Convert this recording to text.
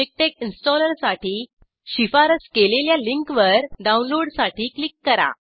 MiKTeX इंस्टॉलरसाठी शिफारस केलेल्या लिंकवर डाऊनलोडसाठी क्लिक करा